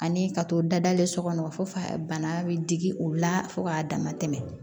Ani ka to dadalen so kɔnɔ fo a bana bɛ digi o la fo k'a dama tɛmɛ